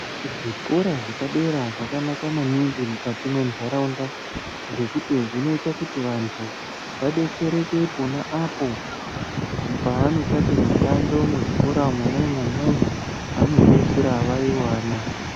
Kuzvikora zvepadera zvakanaka maningi mukati mendaraunda ngekuti zvinoita kuti vantu vadetsereke pona apo pavanoshanda mishando muzvikora Mona imomo vanopeisira vaiwana.